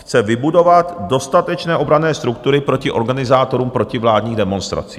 Chce vybudovat dostatečné obranné struktury proti organizátorům protivládních demonstrací.